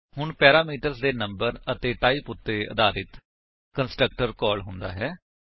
ਹੁਣ ਪੈਰਾਮੀਟਰ ਦੇ ਨੰਬਰ ਅਤੇ ਟਾਈਪ ਉੱਤੇ ਆਧਾਰਿਤ ਕੰਸਟਰਕਟਰ ਕਾਲ ਹੁੰਦਾ ਹੈ